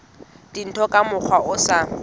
dintho ka mokgwa o sa